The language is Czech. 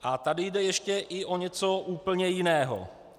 A tady jde ještě i o něco úplně jiného.